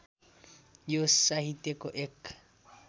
यो साहित्यको एक